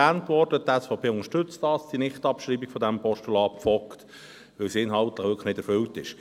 Dies wurde schon erwähnt, die SVP unterstützt die Nichtabschreibung dieses Postulats Vogt weil es inhaltlich wirklich nicht erfüllt ist.